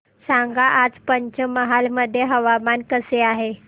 सांगा आज पंचमहाल मध्ये हवामान कसे आहे